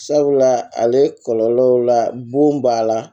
Sabula ale kɔlɔlɔ la bon b'a la